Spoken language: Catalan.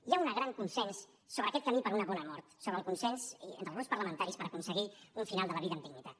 hi ha un gran consens sobre aquest camí per a una bona mort entre els grups parlamentaris per aconseguir un final de la vida amb dignitat